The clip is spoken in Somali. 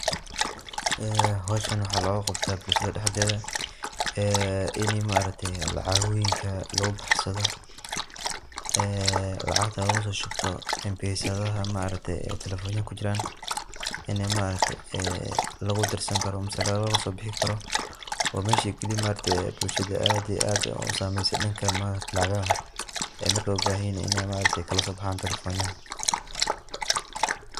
Howshan waxa luguqabta bulshada dhexdeda inii maaragte lacagoyinka lugubaxsado oo maaragta lacagta lugusoshubto lacagta maaragte mpesadaha telefonaha kujiran. Inii lugudirsani karo ama lagasobixini karo, wa mesha kaliya ee bulshada aad iyo aad usameyse danka lacagaha markey ubahanyihin iney maaragte kalasobaxan telefonyaha.